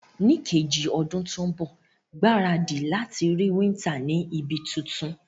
Ní kejì odún to n bò, gbáradì láti rí winter ni ibi tuntun